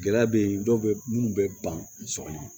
Gɛlɛya bɛ yen dɔw bɛ minnu bɛ ban sɔgɔma